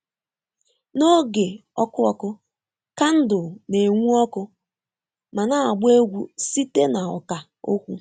N'oge ọkụ ọkụ, kandụl na-enwu ọkụ ma na-agba egwu site na ọkà okwu